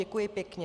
Děkuji pěkně.